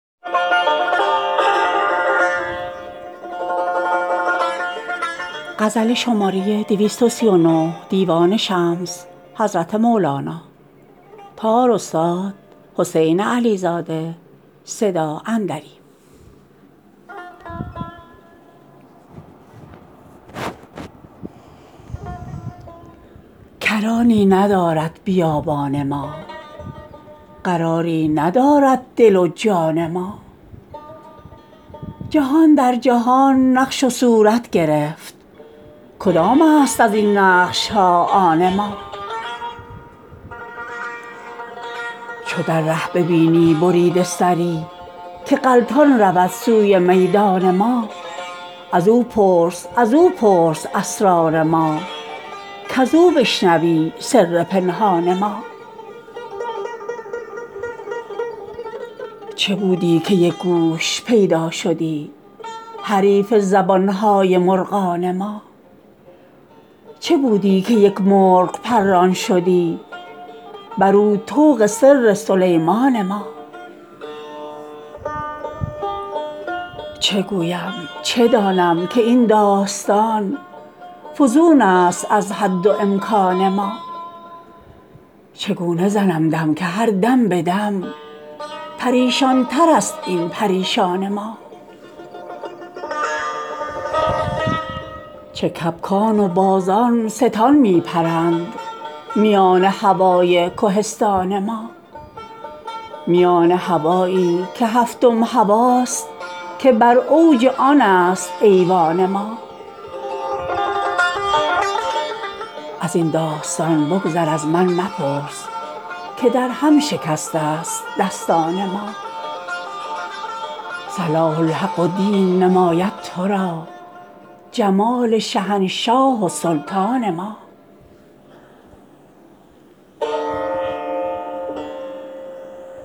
کرانی ندارد بیابان ما قراری ندارد دل و جان ما جهان در جهان نقش و صورت گرفت کدامست از این نقش ها آن ما چو در ره ببینی بریده سری که غلطان رود سوی میدان ما از او پرس از او پرس اسرار ما کز او بشنوی سر پنهان ما چه بودی که یک گوش پیدا شدی حریف زبان های مرغان ما چه بودی که یک مرغ پران شدی برو طوق سر سلیمان ما چه گویم چه دانم که این داستان فزونست از حد و امکان ما چگونه زنم دم که هر دم به دم پریشان ترست این پریشان ما چه کبکان و بازان ستان می پرند میان هوای کهستان ما میان هوایی که هفتم هواست که بر اوج آنست ایوان ما از این داستان بگذر از من مپرس که درهم شکسته ست دستان ما صلاح الحق و دین نماید تو را جمال شهنشاه و سلطان ما